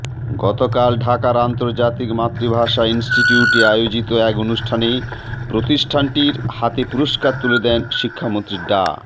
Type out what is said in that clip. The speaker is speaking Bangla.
গতকাল ঢাকার আন্তর্জাতিক মাতৃভাষা ইনস্টিটিউটে আয়োজিত এক অনুষ্ঠানে প্রতিষ্ঠানটির হাতে পুরস্কার তুলে দেন শিক্ষামন্ত্রী ডা